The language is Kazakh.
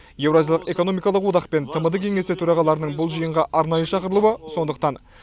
еуразиялық экономикалық одақ пен тмд кеңесі төрағаларының бұл жиынға арнайы шақырылуы сондықтан